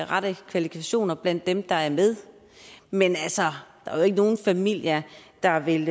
rette kvalifikationer blandt dem der er med men altså der er jo ikke nogen familier der vil